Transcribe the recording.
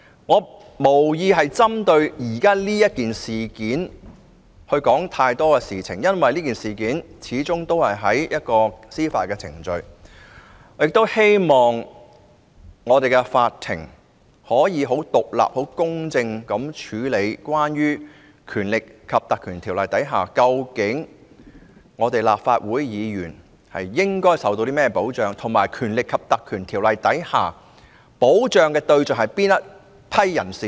我無意就現時的事件說太多，因為有關這事件的司法程序已展開，我希望法庭可以很獨立、很公正地處理在《立法會條例》下，立法會議員應受到甚麼保障，以及該條例所保障的對象是哪群人？